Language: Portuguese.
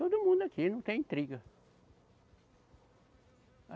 Todo mundo aqui não tem intriga.